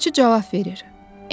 Yazıçı cavab verir: